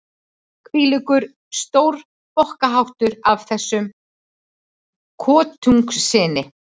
Hvílíkur stórbokkaháttur af þessum kotungssyni!